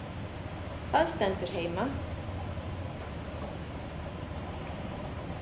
Það stendur heima.